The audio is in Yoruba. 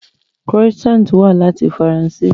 Croissant wá láti Faransé